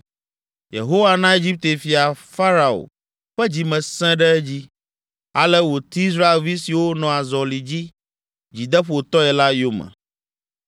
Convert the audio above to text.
Yehowa na Egipte fia Farao ƒe dzi me sẽ ɖe edzi, ale wòti Israelvi siwo nɔ azɔli dzi dzideƒotɔe la yome.